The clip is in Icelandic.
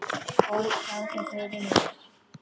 Og sá þau fyrir mér.